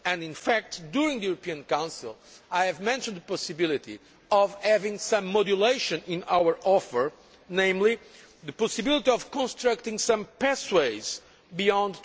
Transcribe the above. In fact, during the European Council, I had mentioned the possibility of having some modulation in our offer, namely the possibility of constructing some pathways beyond